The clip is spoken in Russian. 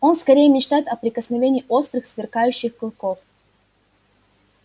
он скорее мечтает о прикосновении острых сверкающих клыков